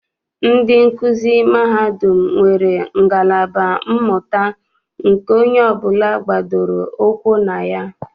Ndị nkuzi mahadum nwere ngalaba mmụta nke onye ọbụla gbadoro ụkwụ na ya.